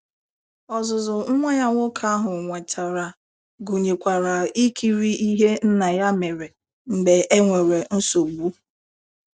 Ọzụzụ nwa ya nwoke ahụ nwetara gụnyekwara ikiri ihe Nna ya mere mgbe e nwere nsogbu.